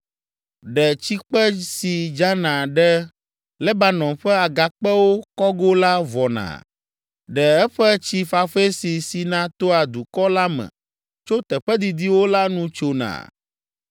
Ɖe tsikpe si dzana ɖe Lebanon ƒe agakpewo kɔgo la vɔna? Ɖe eƒe tsi fafɛ si sina toa dukɔ la me tso teƒe didiwo la nu tsona?